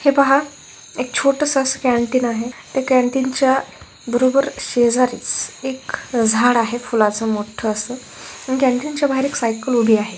है पाहा एक छोटसं असं कॅंटीन आहे ते कॅंटीन च्या बरोबर शेजारीच एक झाडं आहे फुलाचं मोठं असं कॅंटीन च्या बाहेर एक सायकल उभी आहे.